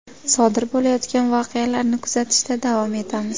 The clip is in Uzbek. Sodir bo‘layotgan voqealarni kuzatishda davom etamiz.